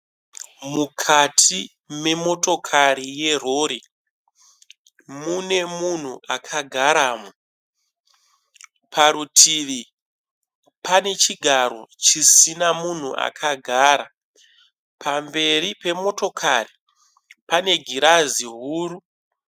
Mukati memotokari yerori. Mune munhu akagaramo. Parutivi pane chigaro chisina munhu akagara. Pamberi pemotokari pane girazi huru.